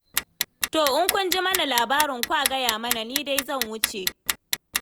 To in kun ji mana labarin kwa gaya mana, ni dai zan wuce.